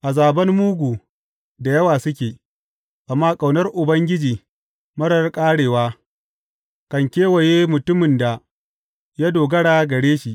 Azaban mugu da yawa suke, amma ƙaunar Ubangiji marar ƙarewa kan kewaye mutumin da ya dogara gare shi.